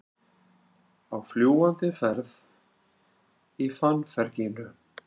Á fljúgandi ferð í fannferginu